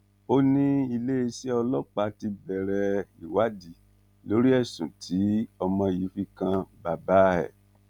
ó ní iléeṣẹ ọlọpàá ti bẹrẹ ìwádìí lórí ẹsùn tí ọmọ yìí fi kan bàbá ẹ